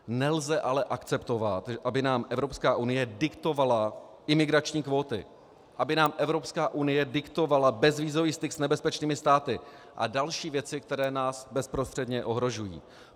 Nelze ale akceptovat, aby nám Evropská unie diktovala imigrační kvóty, aby nám Evropská unie diktovala bezvízový styk s nebezpečnými státy a další věci, které nás bezprostředně ohrožují.